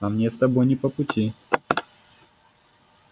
а мне с тобой не по пути